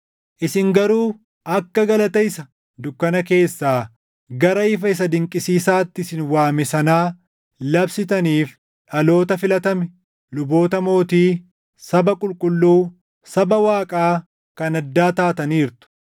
Isin garuu akka galata isa dukkana keessaa gara ifa isaa dinqisiisaatti isin waame sanaa labsitaniif dhaloota filatame, luboota mootii, saba qulqulluu, saba Waaqaa kan addaa taataniirtu.